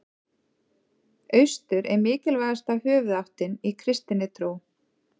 Austur er mikilvægasta höfuðáttin í kristinni trú.